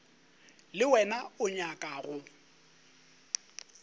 le wena o nyaka go